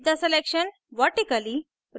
flip the selection vertically